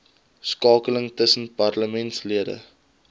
skakeling tussen parlementslede